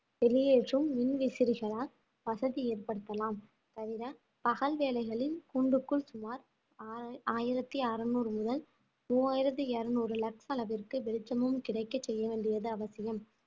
வெளியேற்றும் மின்விசிறிகளால் வசதி ஏற்படுத்தலாம் தவிர பகல் வேளைகளில் கூண்டுக்குள் சுமார் ஆயி~ ஆயிரத்தி அறுநூறு முதல் மூவாயிரத்தி இருநூறு வெளிச்சமும் கிடைக்க செய்ய வேண்டியது அவசியம்